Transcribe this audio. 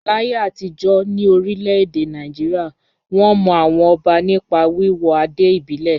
Láyé àtijọ́ ní orílẹ̀-èdè Nàìjíríà, wọ́n mọ àwọn ọba nípa wíwọ adé ìbílẹ̀.